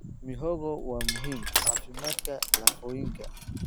Mihogo waa muhiim caafimaadka lafooyinka.